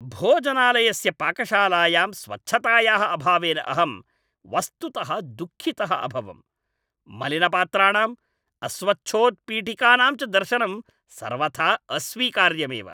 भोजनालयस्य पाकशालायां स्वच्छतायाः अभावेन अहं वस्तुतः दुःखितः अभवम्। मलिनपात्राणाम्, अस्वच्छोत्पीठिकानां च दर्शनं सर्वथा अस्वीकार्यमेव।